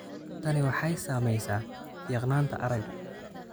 Tani waxay saamaysaa fiiqnaanta aragga.